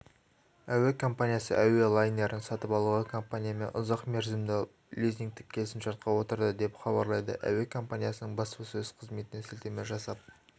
әуе компаниясы әуе лайнерін сатып алуға компаниясымен ұзақ мерзімді лизингтік келісімшартқа отырды деп хабарлайды әуе команиясының баспасөз қызметіне сілтеме жасап